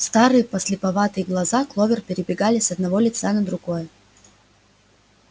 старые подслеповатые глаза кловер перебегали с одного лица на другое